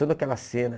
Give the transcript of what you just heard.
Toda aquela cena.